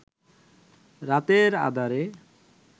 রাতের আঁধারে